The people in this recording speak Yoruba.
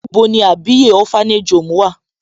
Níbo ní Àbíyè orphanage home wà?